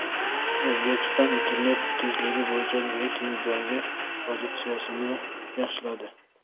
O‘zbekiston internet tezligi bo‘yicha reytingdagi pozitsiyasini yaxshiladi.